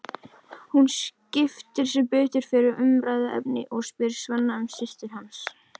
Hún skiptir sem betur fer um umræðuefni og spyr Svenna um systur hans.